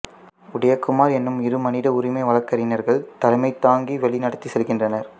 உதயகுமார் எனும் இரு மனித உரிமை வழக்கறிஞர்கள் தலைமைதாங்கி வழிநடத்திச் செல்கின்றனர்